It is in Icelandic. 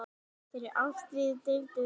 Þeirri ástríðu deildum við afi.